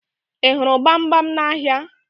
Ị hụrụ gbamgbam n'ahịa?